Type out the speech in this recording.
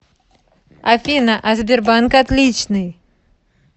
афина а сбербанк отличный